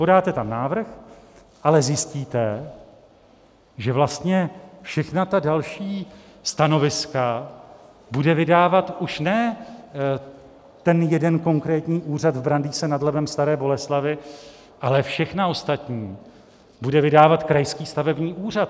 Podáte tam návrh, ale zjistíte, že vlastně všechna ta další stanoviska bude vydávat už ne ten jeden konkrétní úřad v Brandýse nad Labem - Staré Boleslavi, ale všechna ostatní bude vydávat krajský stavební úřad.